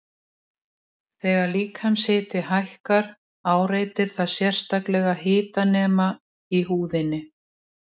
Þegar líkamshiti hækkar áreitir það sérstaka hitanema í húðinni.